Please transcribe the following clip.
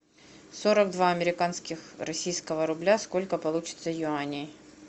сорок два американских российского рубля сколько получится юаней